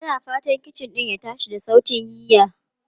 Tana fatan kicin din ya tashi da sautin yiya.